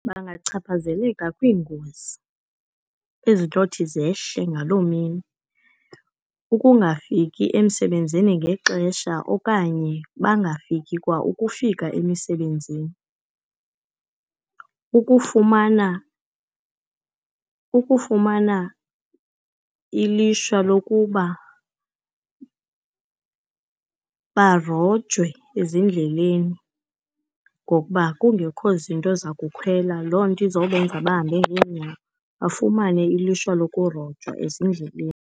Bangachaphazeleka kwiingozi ezintshothi zehle ngaloo mini. Ukungafiki emsebenzini ngexesha okanye bangafiki kwa ukufika emisebenzini. Ukufumana, ukufumana ilishwa lokuba barojwe ezindleleni, ngokuba kungekho zinto zakukhwela. Loo nto izobenza bahambe ngeenyawo, bafumane ilishwa lokurojwa ezindleleni.